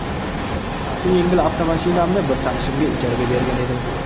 Shaxsiy yengil avtomashinamni bir tanishimga ijaraga bergan edim.